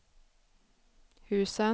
husen